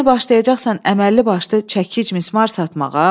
Yəni başlayacaqsan əməlli başlı çəkic mis mar satmağa.